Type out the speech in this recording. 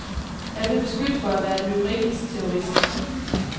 Jeg blev beskyldt for at være lyrikkens terrorist.